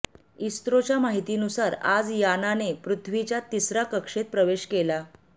इस्रोच्या माहितीनुसार आज यानाने पृथ्वीच्या तिसऱ्या कक्षेत प्रवेश केला